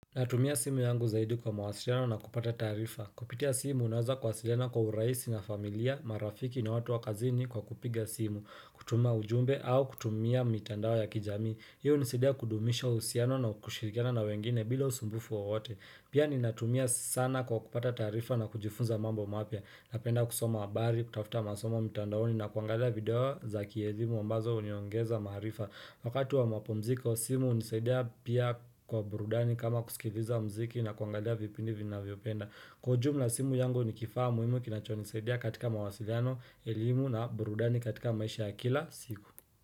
Natumia simu yangu zaidi kwa mawasiliano na kupata taarifa. Kupitia simu naweza kuwasiliana kwa urahisi na familia, marafiki na watu wa kazini kwa kupiga simu, kutuma ujumbe au kutumia mitandao ya kijami. Hii hunisaidia kudumisha uhusiano na kushirikiana na wengine bila usumbufu waote. Pia ninatumia sana kwa kupata taarifa na kujifunza mambo mapya Napenda kusoma habari, kutafuta masomo mitandaoni na kuangalia video za kielimu ambazo huniongeza maarifa Wakati wa mapumziko simu hunisaidia pia kwa burudani kama kusikiliza mziki na kuangalia vipindi ninavyopenda Kwa ujumla simu yangu ni kifaa muhimu kinachonisaidia katika mawasiliano, elimu na burudani katika maisha ya kila siku.